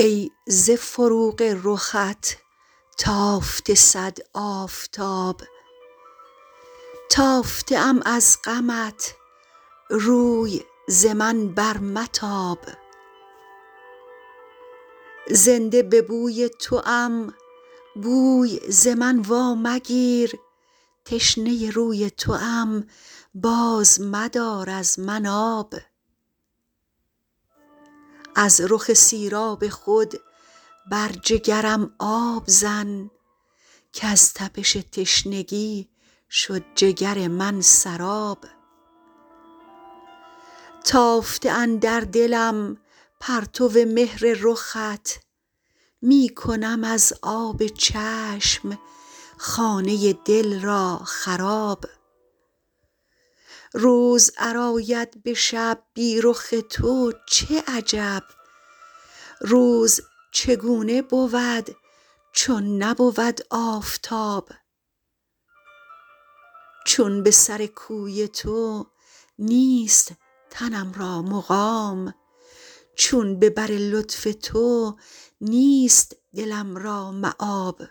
ای ز فروغ رخت تافته صد آفتاب تافته ام از غمت روی ز من بر متاب زنده به بوی توام بوی ز من وامگیر تشنه روی توام باز مدار از من آب از رخ سیراب خود بر جگرم آب زن کز تپش تشنگی شد جگر من سراب تافته اندر دلم پرتو مهر رخت می کنم از آب چشم خانه دل را خراب روز ار آید به شب بی رخ تو چه عجب روز چگونه بود چون نبود آفتاب چون به سر کوی تو نیست تنم را مقام چون به بر لطف تو نیست دلم را مآب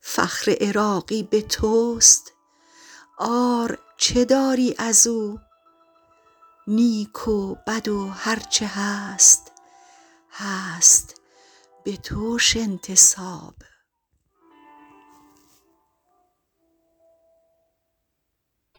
فخر عراقی به توست عار چه داری ازو نیک و بد و هرچه هست هست بتوش انتساب